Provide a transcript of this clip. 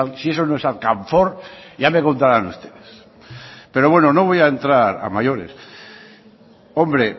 si eso no es alcanfor ya me contaran ustedes pero bueno no voy a entrar a mayores hombre